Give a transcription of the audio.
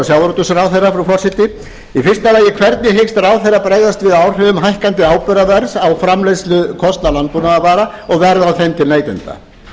sjávarútvegsráðherra frú forseti í fyrsta lagi hvernig hyggst ráðherrann bregðast við áhrifum hækkandi áburðarverðs á framleiðslukostnað landbúnaðarvara og verði á þeim til neytenda